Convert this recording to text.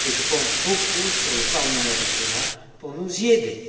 Je compte beaucoup sur le Parlement européen pour nous y aider.